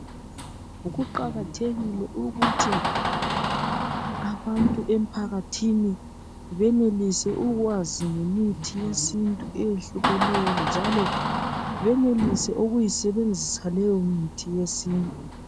Kuqakathekile ukuthi abantu emphakathini benelise ukwazi ngemithi yesintu eyehlukeneyo njalo benelise ukuyisebenzisa leyo mithi yesintu